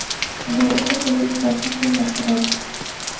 bu o‘qish yoki ishlashni qiyinlashtiradi.